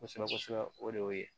Kosɛbɛ kosɛbɛ o de y'o ye